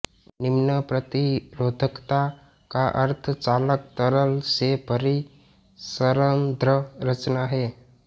निम्नप्रतिरोधकता का अर्थ चालक तरल से भरी सरंध्र रचना है